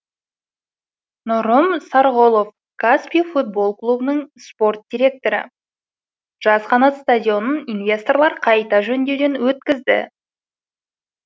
нұрым сарғұлов каспий футбол клубының спорт директоры жас қанат стадионын инвесторлар қайта жөндеуден өткізді